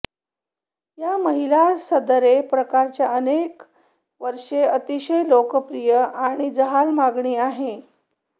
या महिला सदरे प्रकारच्या अनेक वर्षे अतिशय लोकप्रिय आणि जहाल मागणी आहे